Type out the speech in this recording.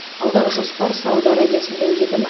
алдағы жоспар сауд арабиясында өтетін